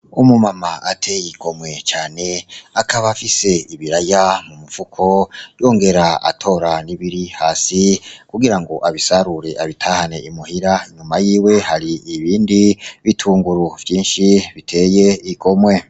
Umu mama ateye igomwe cane akaba afise ibiraya mu mufuko yongera atora n'ibiri hasi kugira ngo abisarure abitahane i muhira inyuma yiwe hari ibindi bitunguru vyinshi biteye igomwe.